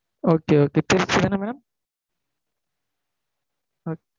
okay okay திருச்சிதான madam